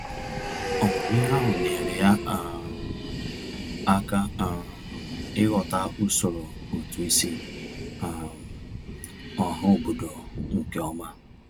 Ọmụmụ ihe ahụ nyeere ya um aka um ịghọta usoro ụtụisi um ọhaobodo nkeọma.